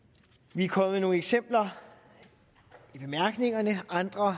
vi er kommet med eksempler i bemærkningerne andre